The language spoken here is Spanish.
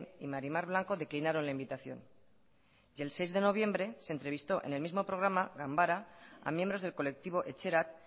y mari mar blanco declinaron la invitación y el seis de noviembre se entrevistó en el mismo programa ganbara a miembros del colectivo etxerat